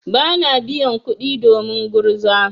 Bana biyan kuɗi domin gurza.